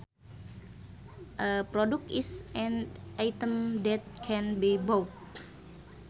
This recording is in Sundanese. A product is an item that can be bought